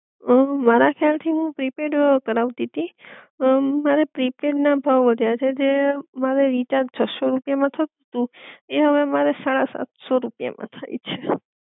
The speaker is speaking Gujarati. અમ મારા ખ્યાલ થી હું પ્રીપેડ કરાવતી તીઅમ મારા પ્રીપેડ ના ભાવ વધ્યા છે જે મારે રીચાર્જ છસો રૂપિયા માં થતું તું ઈ હવે મારે સાડા સાતસો રૂપિયા માં થાઈ છે